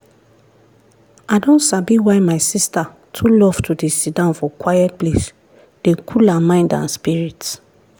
i don sabi why my sister too love to dey siddon for quiet place dey cool her mind and spirit.